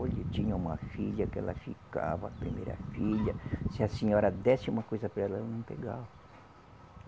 Olha, eu tinha uma filha que ela ficava, a primeira filha, se a senhora desse uma coisa para ela, ela não pegava.